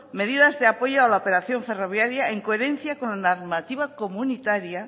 medidas de apoyo a la operación a la operación ferroviaria en coherencia con la normativa comunitaria